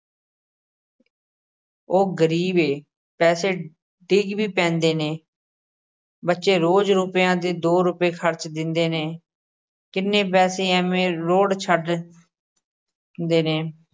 ਉਹ ਗ਼ਰੀਬ ਏ, ਪੈਸੇ ਡਿਗ ਵੀ ਪੈਂਦੇ ਨੇ ਬੱਚੇ ਰੋਜ਼ ਰੁਪਇਆ ਦੇ ਦੋ ਰੁਪਏ ਖ਼ਰਚ ਦੇਂਦੇ ਨੇ, ਕਿੰਨੇ ਪੈਸੇ ਐਵੇਂ ਰੋਹੜ ਛੱਡ ਦੇ ਨੇ।